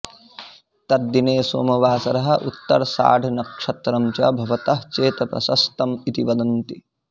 तद्दिने सोमवासरः उत्तराषाढनक्षत्रं च भवतः चेत् प्रशस्तम् इति वदन्ति